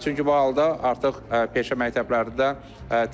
Çünki bu halda artıq peşə məktəblərində